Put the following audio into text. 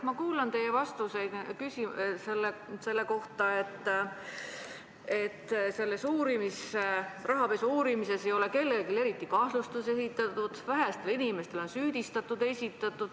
Ma kuulan teie vastuseid selle kohta, kuidas selle rahapesu uurimise käigus ei ole eriti kellelegi kahtlustust esitatud ja väga vähestele inimestele on süüdistus esitatud.